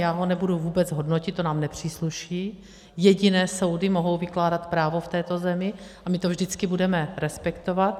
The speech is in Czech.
Já ho nebudu vůbec hodnotit, to nám nepřísluší, jediné soudy mohou vykládat právo v této zemi a my to vždycky budeme respektovat.